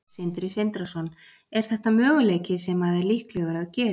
Sindri Sindrason: Er þetta möguleiki sem að er líklegur að gerist?